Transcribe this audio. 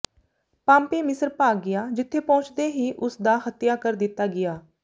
Pompey ਮਿਸਰ ਭਾਗ ਗਿਆ ਜਿੱਥੇ ਪਹੁੰਚਦੇ ਹੀ ਉਸ ਦਾ ਹੱਤਿਆ ਕਰ ਦਿੱਤਾ ਗਿਆ